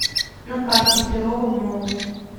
на карте перово молл